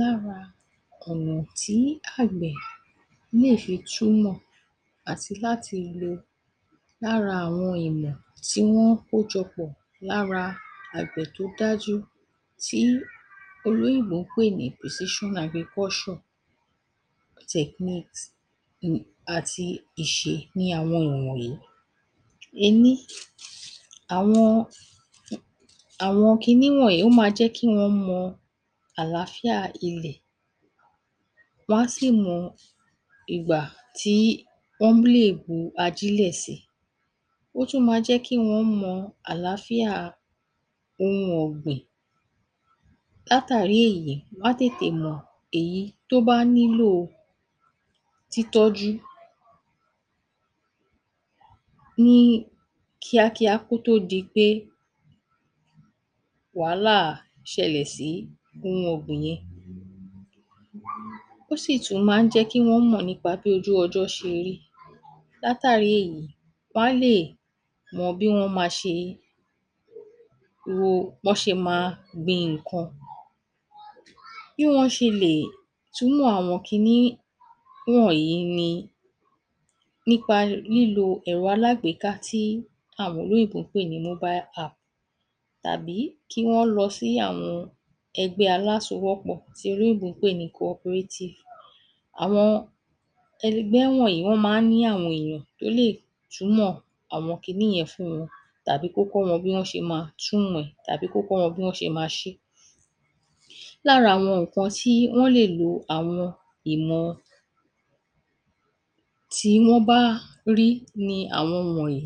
Lára ọ̀nà tí àgbẹ̀ lè fi túmọ̀ àti láti lo lára àwọn ìmọ̀ tí wọ́n kójọ pọ̀ lára àgbẹ̀ tó dájú tí àwọn olóyìnbó ń pè ní pòsíṣán agrikọ́ṣọ̀ tẹ̀knikìs[um] àti ìṣe ni àwọn wọ̀nwọ̀nyí: Ení: àwọn um àwọn kinní wọ̀nyí ó máa jẹ́ kí wọ́n mọ àlàáfíà ilẹ̀, wọ́n á sì mọ ìgbà tí wọ́nḿ lè bu ajílẹ̀ si. Ó tún ma jẹ́ kí wọ́n mọ àlàáfíà ohun ọ̀gbìn. Látàrí èyí wọ́n á tètè mọ̀ èyí tó bá nílò títọ́jú ní, kíákíá kó tó di pé wàhálà, ṣẹlẹ̀ sí ohun ọ̀gbìn náà. Ó sì tún má ń jẹ́ kí ojú ọjọ́ ṣe rí. Látàrí èyí, wọ́n á lè mọ bí wọ́n ma ṣe wo, bọ́n ṣe ma gbìn in nǹkan. Bí wọ́n ṣe lè túmọ̀ àwọn kinní wọ̀nyí ni nípa lílo ẹ̀ro alágbèéka tí àwọn olóyìnbó ń pè ní móbái aàp tàbí kí wọ́n lọ sí àwọn ẹgbẹ́ alásowọ́pọ̀ tí olóyìnbó ń pè ní kọporétìf. Àwọn ẹ̀ligbẹ́ tí ó wọ̀nyí wọ́n má ń ní àwọn èèyàn tó lè túmọ̀ àwọn kinní yẹn fún wọn tàbí kó kọ́ wọn bí wọ́n ṣe ma túmọ̀ ẹ̀ tàbí kó kọ́ wọn bí wọ́n ṣe ma ṣé. Lára àwọn nǹkan ti wọn lè lo àwọn ìmọ̀ tí wọ́n bá rí ni àwọn wọ̀nyí.